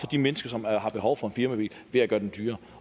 de mennesker som har behov for en firmabil ved at gøre dem dyrere